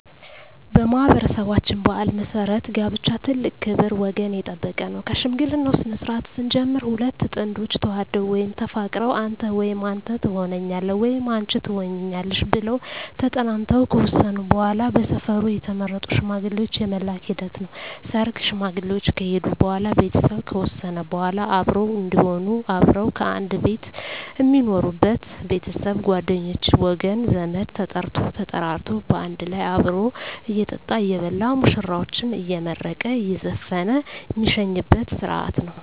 በማኅበረሠባችን ባሕል መሠረት ጋብቻ ትልቅ ክብር ወገን የጠበቀ ነው ከሽምግልናው ስነስርዓት ስንጀምር ሁለት ጥንዶች ተዋደው ወይም ተፋቅረው አንተ ወይም አንተ ተሆነኛለህ ወይም አንች ትሆኝኛለሽ ብለው ተጠናንተው ከወሰኑ በዋላ በሰፈሩ የተመረጡ ሽማግሌዎች የመላክ ሂደት ነው ሰርግ ሽማግሌዎች ከሄዱ በዋላ ቤተሰብ ከወሰነ በዋላ አብሮ እዴሆኑ አብረው ከአንድ ቤት ሜኖሩበች ቤተሰብ ጓደኞቼ ወገን ዘመድ ተጠርቶ ተጠራርቶ ባንድ ላይ አብሮ እየጠጣ እየበላ ሙሽራዎችን አየመረቀ እየዘፈነ ሜሸኝበት ስረሀት ነው